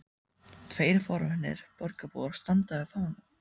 Tveir forvitnir borgarbúar standa við fánann.